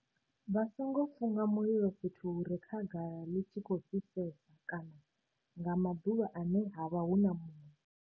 Vha songo funga mulilo fhethu hu re khagala ḽi tshi khou fhisesa kana nga maḓuvha ane ha vha hu na muya.